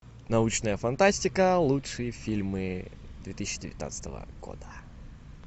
научная фантастика лучшие фильмы две тысячи девятнадцатого года